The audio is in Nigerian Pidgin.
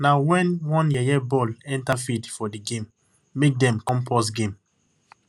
na when one yeye ball enter field for di game make dem come pause game